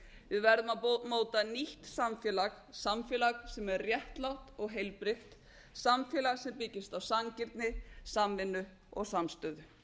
við verðum að móta nýtt samfélag samfélag sem er réttlátt og heilbrigt samfélag sem byggist á sanngirni samvinnu og samstöðu